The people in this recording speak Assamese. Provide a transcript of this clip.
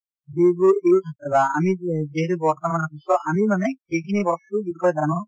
যিবোৰ use ধৰা , আমি যি যিহেতু বৰ্তমান আমি মানে যিখিনি বস্তুৰ বিষয়ে জানো